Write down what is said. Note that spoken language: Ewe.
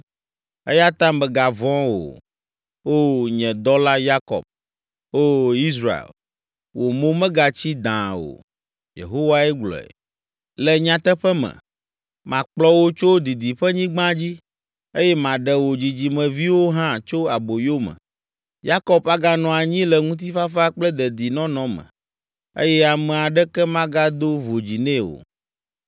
“Eya ta mègavɔ̃ o. O, nye dɔla Yakob. O Israel, wò mo megatsi dãa o.” Yehowae gblɔe. “Le nyateƒe me, makplɔ wò tso didiƒenyigba dzi, eye maɖe wò dzidzimeviwo hã tso aboyo me. Yakob aganɔ anyi le ŋutifafa kple dedinɔnɔ me eye ame aɖeke magado vodzi nɛ o.